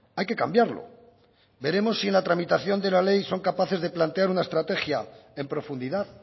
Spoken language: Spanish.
hay que cambiarlo veremos si una tramitación de la ley son capaces de plantear una estrategia en profundidad